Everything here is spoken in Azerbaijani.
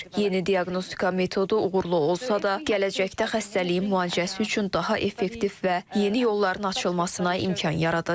Yeni diaqnostika metodu uğurlu olsa da, gələcəkdə xəstəliyin müalicəsi üçün daha effektiv və yeni yolların açılmasına imkan yaradacaq.